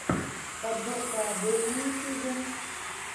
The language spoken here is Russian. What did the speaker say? подборка адель на ютьюбе